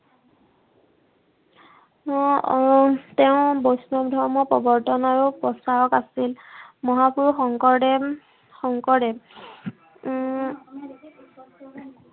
এৰ তেওঁ বৈষ্ণৱ ধৰ্মৰ প্ৰৱৰ্তন আৰু প্ৰচাৰক আছিল। মহাপুৰুষ শংকৰদেৱ, শংকৰদেৱ উম আহ